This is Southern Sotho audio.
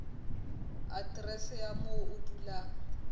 aterese ya moo o dulang